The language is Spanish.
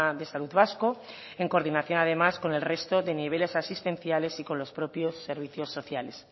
de salud vasco en coordinación además con el resto de niveles asistenciales y con los propios servicios sociales